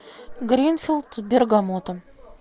гринфилд с бергамотом